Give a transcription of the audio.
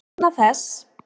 Vegna þess!